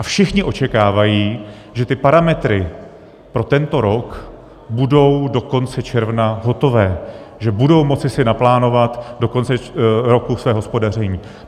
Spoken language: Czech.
A všichni očekávají, že ty parametry pro tento rok budou do konce června hotové, že budou moci si naplánovat do konce roku své hospodaření.